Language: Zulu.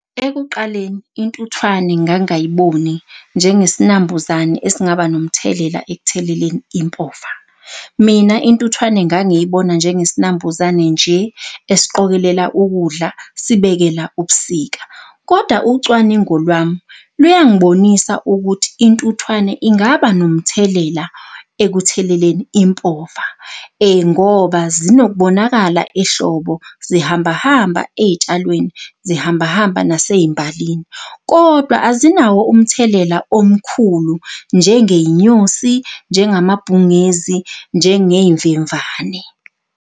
Ekuqaleni intuthwane ngangayiboni njengesinambuzane esingaba nomthelela ekutheleleni impova. Mina intuthwane ngangiy'bona njengesinambuzane nje esiqokelela ukudla sibekela ubusika. Kodwa ucwaningo lwami luyang'bonisa ukuthi intuthwane ingaba nomthelela ekutheleleni impova. Ngoba zinokubonakala ehlobo zihamba hamba ey'tshalweni, zihamba hamba nasey'mbalini, kodwa azinawo umthelela omkhulu njengey'nyosi, njengamabhungezi, njengey'mvemvane.